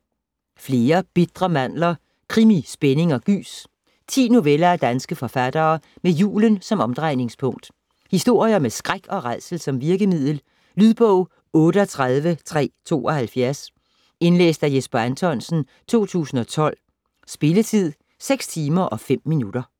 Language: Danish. Flere bitre mandler: krimi, spænding & gys 10 noveller af danske forfattere med julen som omdrejningspunkt. Historier med skræk og rædsel som virkemiddel. Lydbog 38372 Indlæst af Jesper Anthonsen, 2012. Spilletid: 6 timer, 5 minutter.